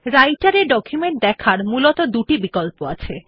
রাইটের এ ডকুমেন্ট দেখার মূলত দুটি বিকল্প আছে